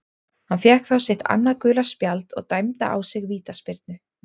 Hann fékk þá sitt annað gula spjald og dæmda á sig vítaspyrnu.